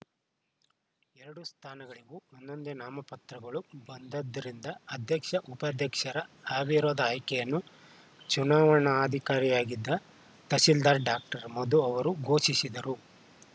ಎರಡೂ ಸ್ಥಾನಗಳಿಗೂ ಒಂದೊಂದೆ ನಾಮಪತ್ರಗಳು ಬಂದ್ದರಿಂದ ಅಧ್ಯಕ್ಷ ಉಪಾಧ್ಯಕ್ಷರ ಅವಿರೋಧ ಆಯ್ಕೆಯನ್ನು ಚುನಾವಣಾಧಿಕಾರಿಯಾಗಿದ್ದ ತಹಸೀಲ್ದಾರ್‌ ಡಾಕ್ಟರ್ ಮಧು ಅವರು ಘೋಷಿಸಿದರು